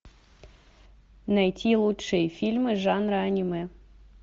найти лучшие фильмы жанра аниме